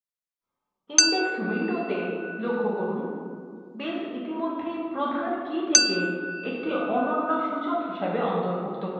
index window লক্ষ্য করুন base ইতিমধ্যেই প্রধান keyটিকে একটি অনন্য সূচক হিসেবে অন্তর্ভুক্ত করেছে